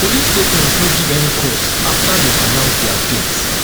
police statement no give any cause afta dem announce dia deaths